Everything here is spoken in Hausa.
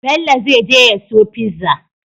Bello zai je ya siyo pizza